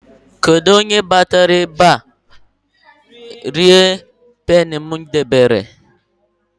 Kedụ onye batara ebe a rie Goldin Peni m debere?